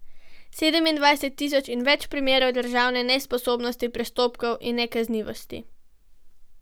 Sedemindvajset tisoč in več primerov državne nesposobnosti, prestopkov in nekaznivosti.